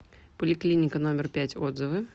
поликлиника номер пять отзывы